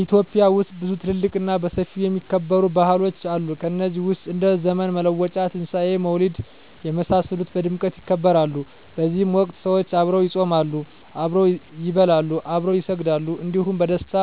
ኢትዮጵያ ውስጥ ብዙ ትልልቅ እና በሰፊው የሚከበሩ ባህሎች አሉ ከነዚህ ውስጥ እንደ ዘመን መለወጫ; ትንሣኤ; መውሊድ የመሳሰሉት በድምቀት ይከበራሉ በዚህ ወቅት ሰዎች አብረው ይጾማሉ፣ አብረው ይበላሉ፣ አብረው ይሰግዳሉ እንዲሁም በደስታ